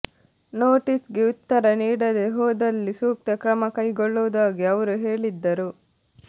notice ಗೆ ಉತ್ತರ ನೀಡದೆ ಹೋದಲ್ಲಿ ಸೂಕ್ತ ಕ್ರಮ ಕೈಗೊಳ್ಳುವುದಾಗಿ ಅವ್ರು ಹೇಳಿದ್ದರು